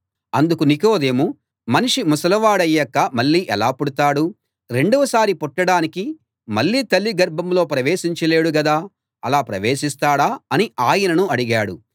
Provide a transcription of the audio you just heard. అందుకు నికోదేము మనిషి ముసలివాడయ్యాక మళ్ళీ ఎలా పుడతాడు రెండవ సారి పుట్టడానికి మళ్ళీ తల్లి గర్భంలో ప్రవేశించలేడు గదా అలా ప్రవేశిస్తాడా అని ఆయనను అడిగాడు